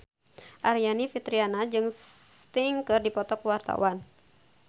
Aryani Fitriana jeung Sting keur dipoto ku wartawan